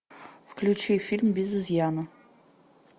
включи фильм без изъяна